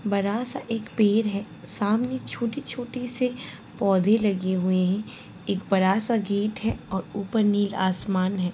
बड़ा सा एक पेड़ है। सामने छोटे-छोटे से पौधे लगे हुए हैं। एक बड़ा सा गेट है और ऊपर नील आसमान है।